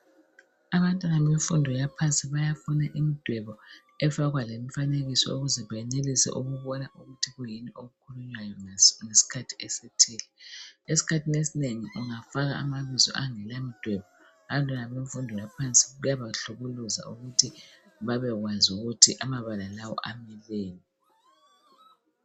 Abantwana bemfundo yaphansi bayafuna imidwebo efakwa lemfanekiso ukuze benelise ukubona ukuthi kuyini okukhulunywayo ngesikhathi esithile. Esikhathini esinengi ungafaka amabizo angelamdwebo abantwana bemfundo yaphansi kuyabahlukuluza ukuthi babekwazi ukuthi amabala lawo ameleni.